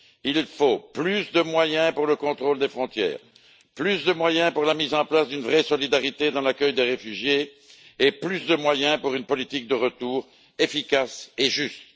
Il faut plus de moyens pour le contrôle des frontières, plus de moyens pour la mise en place d'une vraie solidarité dans l'accueil des réfugiés et plus de moyens pour une politique de retour efficace et juste.